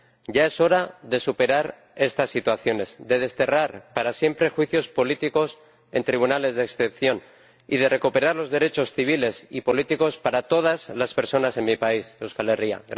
Ya es hora de superar estas situaciones, de desterrar para siempre juicios políticos en tribunales de excepción y de recuperar los derechos civiles y políticos para todas las personas en mi país, Euskal Herria.